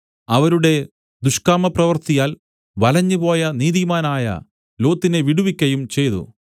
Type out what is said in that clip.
അവരുടെ ദുഷ്കാമപ്രവൃത്തിയാൽ വലഞ്ഞുപോയ നീതിമാനായ ലോത്തിനെ വിടുവിക്കയും ചെയ്തു